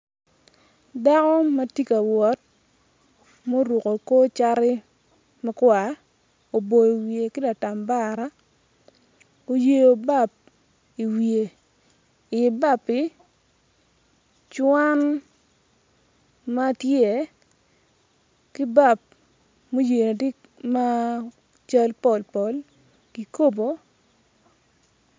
Dako ma ti ka wot muruku kor cati makwar oboyo wiye ki latambara uyeyo bap iwiye i ibappi cwan ma tye ki bap mu yeyo-n ti ma cal pol pol kikobo